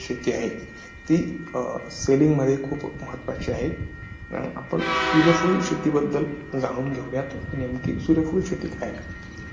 शेती आहेत ती selling मध्ये खूप महत्वाची आहे आपण सूर्यफूल शेती बद्दल जाणून घेऊयात कि नेमकी सूर्यफूल शेती काय आहे